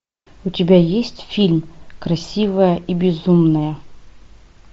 у тебя есть фильм красивая и безумная